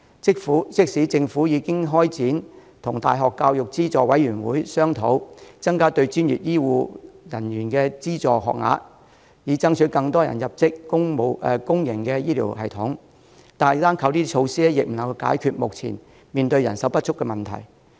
即使政府已開始與大學教育資助委員會商討增加對專業醫護人員的資助學額，以爭取更多人入職公營醫療系統，但單靠這些措施仍不能解決目前面對的人手不足問題。